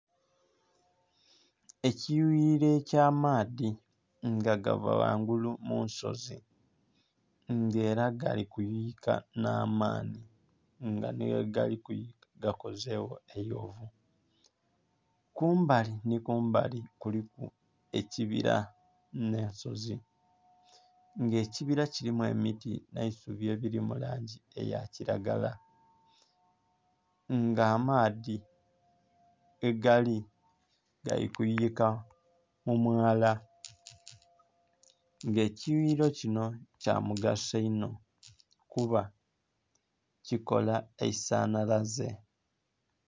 Ekiyughiriro eky'amaadha nga gava ghangulu munsozi nga era galikuyuyika nh'amanhi nga nhighe galikuyuyika gakozegho eghovu. Kumbali nhi kumbali kuliku ekibira nh'ensozi nga ekibira kirimu emiti nh'eisubi ebiri mulangi eyakiragala nga amaadhi ghegali galikuyuyika mumwala nga ekiyughiriro kinho kyamugaso inho kuba kikola eisanhalaze.